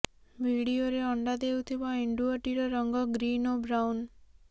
ଭିଡିଓରେ ଅଣ୍ଡା ଦେଉଥିବା ଏଣ୍ଡୁଅଟିର ରଙ୍ଗ ଗ୍ରୀନ ଓ ବ୍ରାଉନ